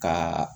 Ka